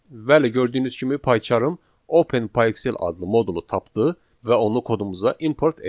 Bəli, gördüyünüz kimi PyCharm Open PyXell adlı modulu tapdı və onu kodumuza import etdi.